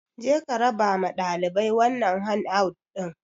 Je ka raba ma ɗalibai wannan han out ɗin!